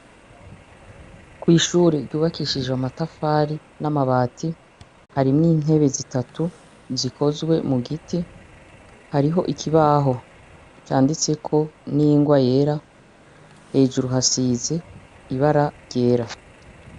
Kw'ishure ryubakishije amatafati n'amabati, harimwo intebe zitatu zikozwe mugiti, hariho ikibaho canditseko n'ingwa yera, hejuru hasize ibara ryera.